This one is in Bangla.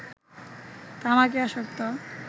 তামাকে আসক্ত